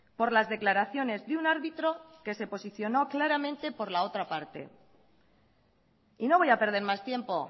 por las declaraciones de un árbitro que se posicionó claramente por la otra parte y no voy a perder más tiempo